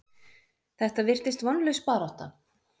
Þetta virtist vonlaus barátta.